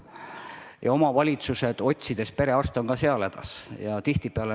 Ka seal on omavalitsused perearstide leidmisega hädas.